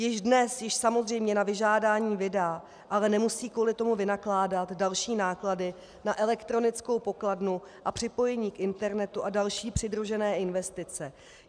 Již dnes ji samozřejmě na vyžádání vydá, ale nemusí kvůli tomu vynakládat další náklady na elektronickou pokladnu a připojení k internetu a další přidružené investice.